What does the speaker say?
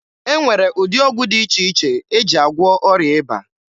E nwere ụdị ọgwụ dị iche iche e ji agwụọ ọrịa ịba